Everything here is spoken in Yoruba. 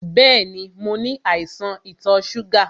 Bẹ́ẹ̀ni, mo ní àìsàn ìtò ṣúgà.